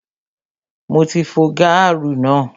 Mo ti fo gaaru náà